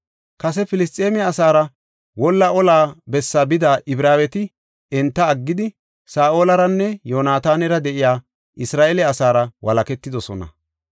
Kase Filisxeeme asaara wolla olla bessa bida Ibraaweti enta aggidi, Saa7olaranne Yoonatanara de7iya Isra7eele asaara walaketidosona.